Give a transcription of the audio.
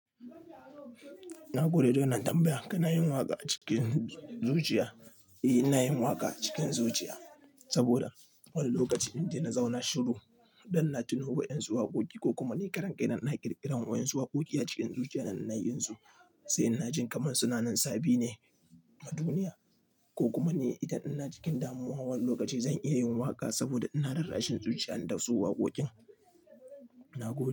Na gode da wannan tambaya. Kana yin waƙa a cikin zuciya? Eh, ina yin waƙa a cikin zuciya saboda wani lokaci inda na zauna shiru don na tuno wa'yansu waƙoƙi ko kuma ni karan kaina ina ƙirƙirar wa'yansu waƙoƙi a cikin zuciya da ina yi su, sai na ji kamar suna nan sabin ne a duniya. Ko kuma ni idan ina cikin damuwa wani lokaci zan iya yin waƙa saboda ina rarrashin zuciya na dasu waƙoƙin. Na gode.